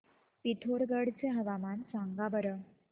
पिथोरगढ चे हवामान सांगा बरं